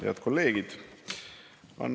Head kolleegid!